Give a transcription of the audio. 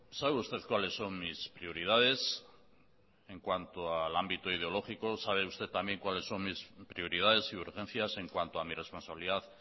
sabe usted cuáles son mis prioridades en cuanto al ámbito ideológico sabe usted también cuáles son mis prioridades y urgencias en cuanto a mi responsabilidad